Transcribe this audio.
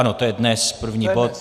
Ano, to je dnes, první bod.